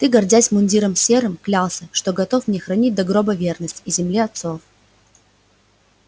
ты гордясь мундиром серым клялся что готов мне хранить до гроба верность и земле отцов